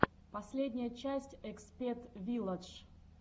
последняя часть экспет вилладж